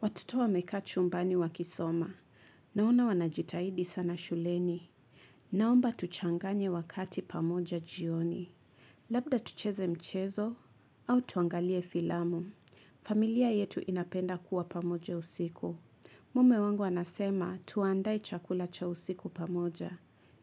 Watoto wa mekaa chumbani wa kisoma. Naona wanajitahidi sana shuleni. Naomba tuchanganye wakati pamoja jioni. Labda tucheze mchezo au tuangalie filamu. Familia yetu inapenda kuwa pamoja usiku. Mume wangu anasema tuandae chakula cha usiku pamoja.